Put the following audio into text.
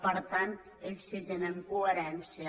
per tant ells sí que tenen coherència